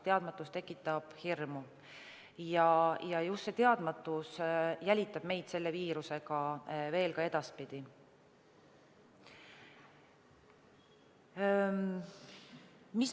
Teadmatus tekitab hirmu ja just teadmatus jälitab meid selle viiruse puhul edaspidigi.